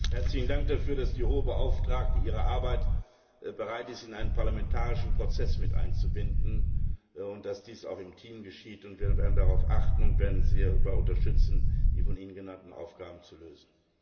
Herzlichen Dank dafür, dass die Hohe Beauftragte bereit ist, ihre Arbeit in einen parlamentarischen Prozess mit einzubinden, und dass dies auch im Team geschieht. Wir werden darauf achten und werden sie dabei unterstützen, die von Ihnen genannten Aufgaben zu lösen.